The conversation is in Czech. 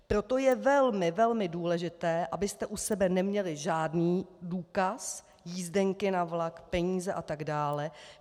Proto je velmi, velmi důležité, abyste u sebe neměli žádný důkaz - jízdenky na vlak, peníze, atd.